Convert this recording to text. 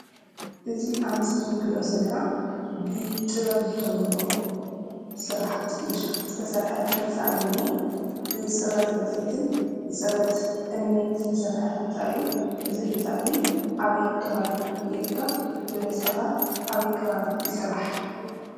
እዚ አብ ምስሊ እነሪኦ ዘለና ብጥበብ ዝተሞለኦ ስራሕቲ ኢድ ዝተሰርሐ ህንፃ እዩ እኒአ :: ብፅርበት ፅንፀይትን ብፅርበት እምንን ዝተሰርሐ ህንፃ እዩ ። እዚ ህንፃ እዚ አበይ ከባቢ ይርከብ? ብበዚሒ ኸ አበይ ከባቢ ይስራሕ?